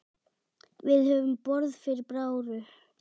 Við höfum borð fyrir báru.